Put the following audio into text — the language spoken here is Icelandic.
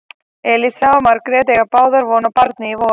Elísa og Margrét eiga báðar von á barni í vor.